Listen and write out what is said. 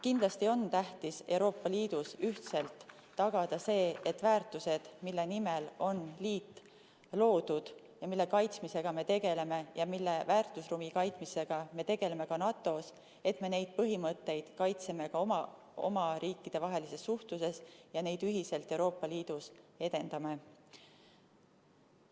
Kindlasti on tähtis Euroopa Liidus ühtselt tagada see, et me neid väärtusi ja põhimõtteid, mille nimel on liit loodud ja mille kaitsmisega me tegeleme ja mille väärtusruumi kaitsmisega me tegeleme ka NATO-s, kaitseme ka oma riikidevahelises suhtluses ja et me neid ühiselt Euroopa Liidus edendame.